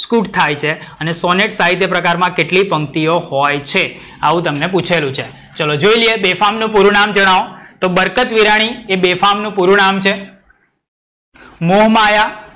સ્કૂટ થાય છે. અને સોનેટ સાહિત્ય પ્રકારમાં કેટલી પંક્તિઓ હોય છે? આવું તમને પુછેલું છે. ચલો જોઈ લઈએ. બેફામ નુ પૂરું નામ જણાવો. તો બરકત વિરાણી એ બેફામ નુ પૂરું નામ છે. મોહમાયા,